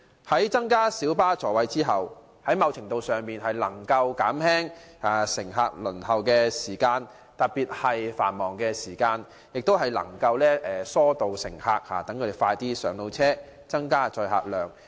增加小巴座位後，某程度上能夠縮減乘客候車的時間，特別是在繁忙時段，有助疏導乘客，讓他們可盡快上車。